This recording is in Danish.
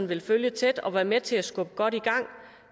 vil følge tæt og være med til at skubbe godt i gang